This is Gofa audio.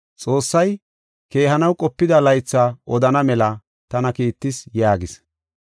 Xoossay keehanaw qopida laytha odana mela tana kiittis” yaagis.